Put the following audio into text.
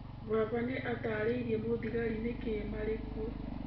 Baba nĩ aataarĩirie mũthigari nĩkĩĩ marĩ kuo.